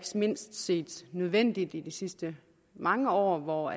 mindst set nødvendigt i de sidste mange år hvor